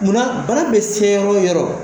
Munna bana bɛ se yɔrɔ o yɔrɔ.